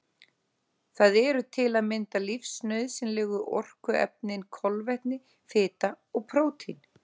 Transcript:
Það eru til að mynda lífsnauðsynlegu orkuefnin kolvetni, fita og prótín.